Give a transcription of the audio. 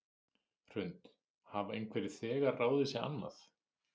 Hrund: Hafa einhverjir þegar ráðið sig annað?